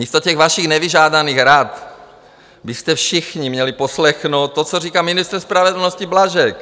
Místo těch vašich nevyžádaných rad byste všichni měli poslechnout to, co říká ministr spravedlnosti Blažek.